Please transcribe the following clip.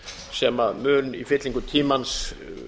sem mun í fyllingu tímans